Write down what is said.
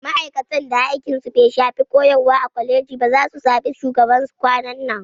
Ma'aikatan da aikin su bai shafi koyarwa ba a kwaleji zasu zaɓi shugaban su kwanan nan